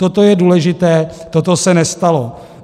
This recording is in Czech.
Toto je důležité, toto se nestalo.